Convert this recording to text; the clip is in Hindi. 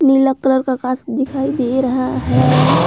नीला कलर का आकाश दिखाई दे रहा है।